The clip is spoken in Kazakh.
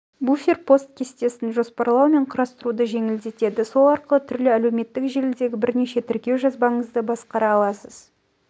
буфер пост кестесін жоспарлау мен құрастыруды жеңілдетеді сол арқылы түрлі әлеуметтік желідегі бірнеше тіркеу жазбаңызды басқара аласыз